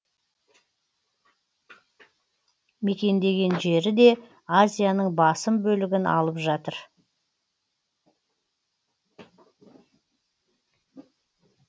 мекендеген жері де азияның басым бөлігін алып жатыр